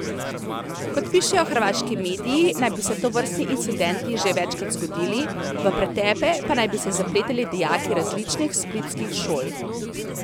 Kot pišejo hrvaški mediji, naj bi se tovrstni incidenti že večkrat zgodili, v pretepe pa naj bi se zapletali dijaki različnih splitskih šol.